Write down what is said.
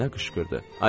Nənə qışqırdı.